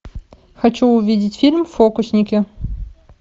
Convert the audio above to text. хочу увидеть фильм фокусники